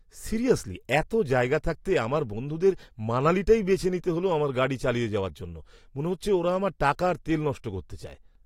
Seriously, এতো জায়গা থাকতে আমার বন্ধুদের মানালিটাই বেছে নিতে হল আমার গাড়ি চালিয়ে যাওয়ার জন্য! মনে হচ্ছে ওরা আমার টাকা আর তেল নষ্ট করতে চায়!